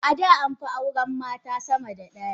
Ada amfi auren mata sama da daya.